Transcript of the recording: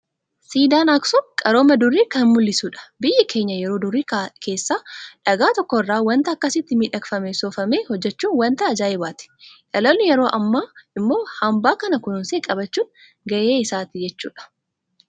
Siidaan Aaksum qarooma durii kan mul'isudha. Biyyi keenya yeroo durii keessa dhagaa tokko irraa waanta akkasitti miidhakfamee soofame hojjechuun waanta ajaa'ibaati. Dhaloonni yeroo ammaa immoo hanbaa kana kunuunsee qabachuun gahee isaati jechuudha.